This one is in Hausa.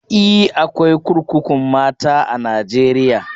E, akwai kurkukun mata a Najeriya.